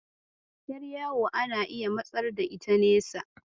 Ƴar yawo ana iya matsar da ita nesa.